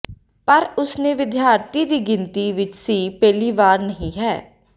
ਪਰ ਉਸ ਨੇ ਵਿਦਿਆਰਥੀ ਦੀ ਗਿਣਤੀ ਵਿਚ ਸੀ ਪਹਿਲੀ ਵਾਰ ਨਹੀ ਹੈ